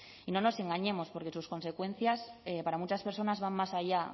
y no nos engañemos porque sus consecuencias para muchas personas van más allá